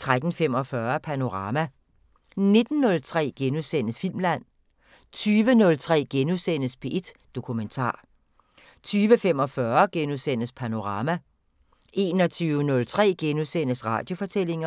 13:45: Panorama 19:03: Filmland * 20:03: P1 Dokumentar * 20:45: Panorama * 21:03: Radiofortællinger *